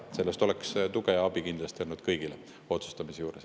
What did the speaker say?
Sellest oleks tuge ja abi kindlasti olnud selle otsustamise juures.